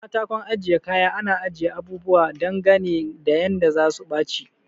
A katakon ajiye kaya ana ajiye abubuwa dangane da yanda zasu baci